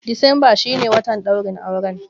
Decemba shi ne watan ɗaurin auren.